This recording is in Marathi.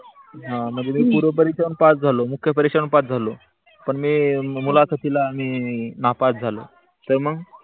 हा म्हनजे मी पूर्व परीक्षा हु पास झालो, मुख्य पास हु झालो पण मी मुलाखातीला नापास झालो तर मॅग?